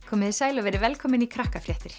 komiði sæl og verið velkomin í